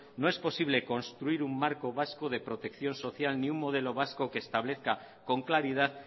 no es posible construir un marco vasco de protección social ni un modelo vasco que establezca con claridad